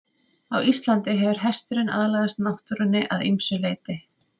Á Íslandi hefur hesturinn aðlagast náttúrunni að ýmsu leyti.